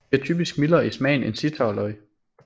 De er typisk mildere i smagen end zittauerløg